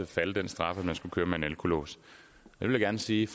falde den straf at man skal køre med alkolås jeg vil gerne sige